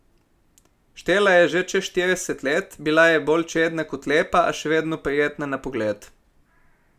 Štela je čez štirideset let, bila je bolj čedna kot lepa, a še vedno prijetna na pogled.